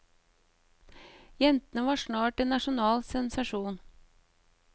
Jentene var snart en nasjonal sensasjon.